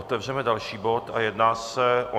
Otevřeme další bod a jedná se o